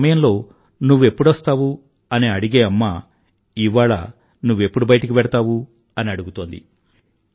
ఒక సమయంలో నువ్వెప్పుడొస్తావు అని అడిగే అమ్మ ఇవాళ నువ్వెప్పుడు బయటికి వెళ్తావు అని అడుగుతోంది